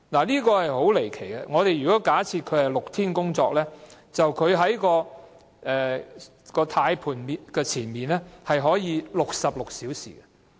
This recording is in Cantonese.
這是很離奇的，假設車長是6天工作，那麼他便可以在駕駛盤前66小時。